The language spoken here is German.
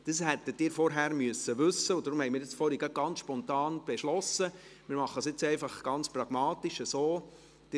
Das hätten Sie vorher wissen müssen, und deswegen haben wir vorhin gerade ganz spontan beschlossen, dass wir es jetzt ganz pragmatisch so machen: